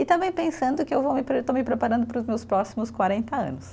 E também pensando que eu vou me, estou me preparando para os meus próximos quarenta anos.